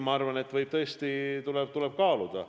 Ma arvan, et neid ettepanekuid tuleb tõesti kaaluda.